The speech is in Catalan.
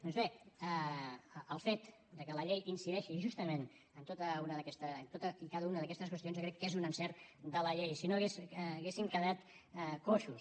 doncs bé el fet de que la llei incideixi justament en totes i cada una d’aquestes qüestions jo crec que és un encert de la llei si no hauríem quedat coixos